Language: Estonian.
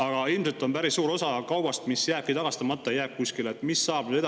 Aga ilmselt päris suur osa kaubast jääb tagastamata, jääbki kuskile.